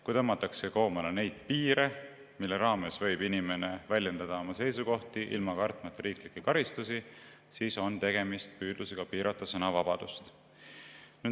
Kui tõmmatakse koomale neid piire, mille raames võib inimene väljendada oma seisukohti, kartmata riiklikke karistusi, siis on tegemist püüdlusega piirata sõnavabadust.